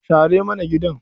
Share mana gidan.